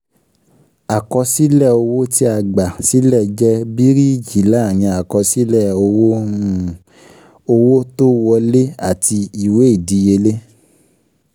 Àkọsílẹ̀ owó tí a gbà sílẹ̀ jẹ́ bíríìjí láàrin àkọsílẹ̀ um owó um owó tó um wolẹ́ àti ìwé ìdíyelé